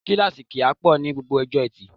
Kíláàsì kì í pọ̀ ní gbogbo ọjọ́ Etì